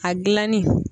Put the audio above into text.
A gilanni